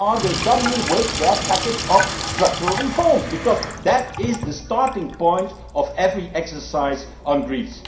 Greece. When are they coming forward with their package of structural reforms, because that is the starting point of every exercise on